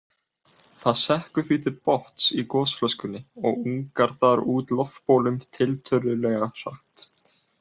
Það sekkur því til botns í gosflöskunni og ungar þar út loftbólum tiltölulega hratt.